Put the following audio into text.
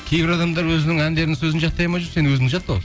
кейбір адамдар өзінің әндерінің сөзін жаттай алмай жүр сен өзіңді жаттап ал